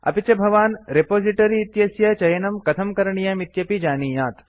अपि च भवान् रेपोसिटोरि इत्यस्य चयनं कथं करणीयं इत्यपि जानीयात्